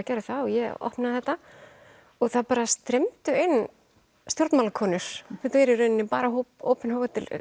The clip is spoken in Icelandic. gerðu það og ég opnaði þetta og það bara streymdu inn stjórnmálakonur þetta er í rauninni bara opinn